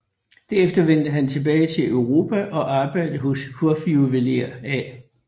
Derefter vendte han tilbage til Europa og arbejdede hos hofjuveler A